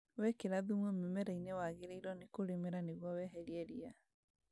Wekĩra thumu mĩmera-inĩ wagĩrĩirwo nĩ kũrĩmĩra nĩguo weherie ria